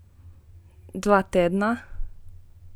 Dva tedna?